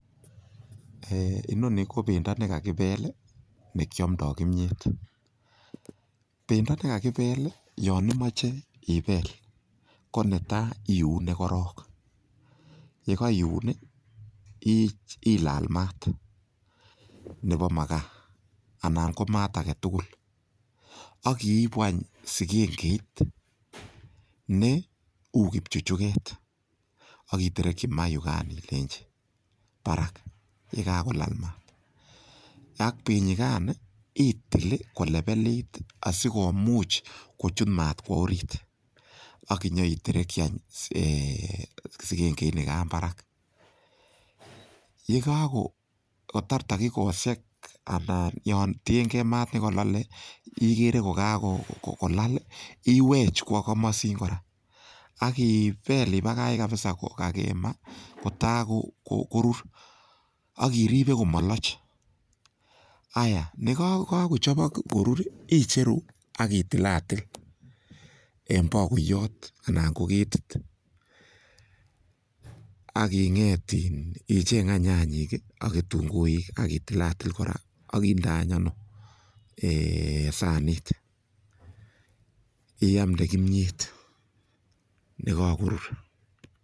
INoni ko bendo ne kakibel ne kiomdo kimyet, bendo ne kakibel yon imoche ibel kotam netai iune korong, ye koiun ilal maat nebo makaa anan ko maat age tugul ak iiibu any sigengeit neu kipchuchuget ak itereki maa yugan ilenchi barak, ye kagolal maat. Ak benyi kan itil kolebelit asikomuch kochut maat kwo orit ak inyoitereki any sigengeit nikan barak, yekagotar takikosiek anan yon tienge maat nekollole igere koga kolal iwech kwo komosin kora ak ibel ibagach kabisa kogaake en maa kotagoruru ak iribe komaloch. Haiiya ye kagochobok korur icheru ak itilatil en bogoyot anan ko ketit, ak ing'et icheng any nyanyik ak ketunguik ak itilatil kora ak inde any anyun sanit iamde kimyet ne kagorur.